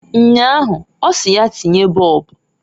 Nnyaa ahụ ọsị ya tinye bọọbụǃ